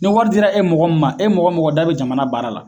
Ni wari dira e mɔgɔ min ma; e mɔgɔ mɔgɔ da be jamana baara la..